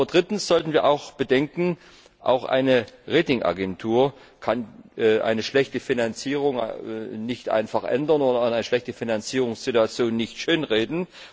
Aber drittens sollten wir auch bedenken Auch eine Ratingagentur kann eine schlechte Finanzierung nicht einfach ändern oder eine schlechte Finanzierungssituation nicht schönreden.